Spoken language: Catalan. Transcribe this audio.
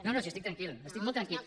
no no si estic tranquil estic molt tranquil